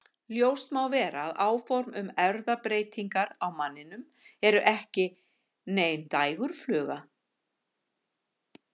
Ljóst má vera að áform um erfðabreytingar á manninum eru ekki nein dægurfluga.